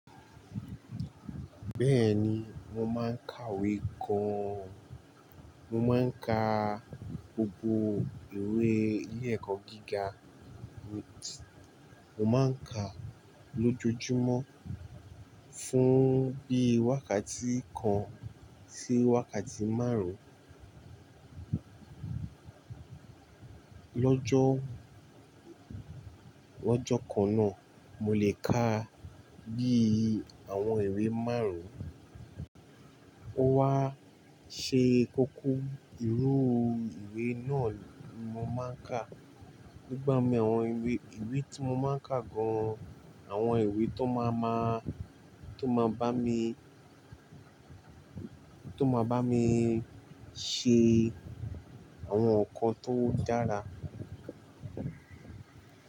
Bẹ́ẹ̀ni, mo máa ń kàwé gan. Mo máa ń ka gbogbo ìwé ilé ẹ̀kọ́ gíga mi. Mo máa ń ka lójoojúmọ́ fún bí i wákàtí kan sí wákàtí márùn-ún. Lọ́jọ́, lọ́jọ́ kan náà mo lè ka bí i àwọn ìwé márùn-ún. Ó wá ṣe kókó irú ìwé náà ni mo máa ń kà. Nigbá mi àwọn ìwé, ìwé tí mo máa ń kà gan, àwọn ìwé tó máa ma, tó máa bá mi, tó máa bá mi ṣe àwọn nǹkan tó dára.